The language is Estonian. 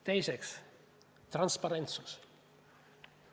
Teiseks, transparentsus.